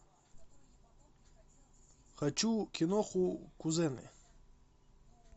хочу киноху кузены